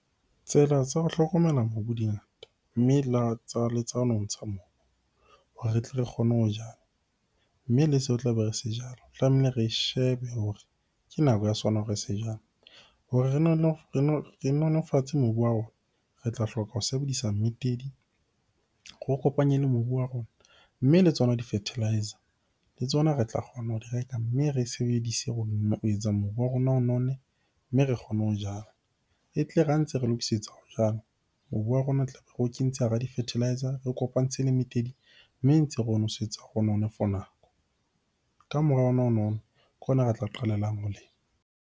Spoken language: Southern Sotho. Tsela tsa ho hlokomela mobu di ngata, mme le tsa nontsha mobu hore re tle re kgone ho jala. Mme le seo re tlabe re se jala, tlamehile re shebe hore ke nako ya sona hore re se jale. Hore re nolofatse mobu wa rona, re tla hloka ho sebedisa mmitedi re o kopanye le mobu wa rona. Mme le tsona di-fertiliser le tsona re tla kgona ho di reka, mme re e sebedise ho etsa mobu wa rona o nonne, mme re kgone ho jala. E tle re ha ntse re lokisetsa ho jala, mobu wa rona tlabe re o kentse hara di-fertiliser. Re o kopantse le mmitedi, mme ntse re ho nosetsa for nako. Ka mora ke hona re tla qalellang ho lema.